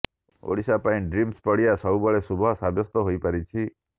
ଓଡ଼ିଶା ପାଇଁ ଡ୍ରିମ୍ସ ପଡ଼ିଆ ସବୁବେଳେ ଶୁଭ ସାବ୍ୟସ୍ତ ହୋଇପାରିଛି